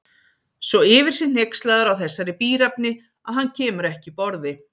Svo yfir sig hneykslaður á þessari bíræfni að hann kemur ekki upp orði.